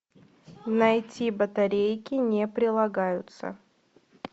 найти батарейки не прилагаются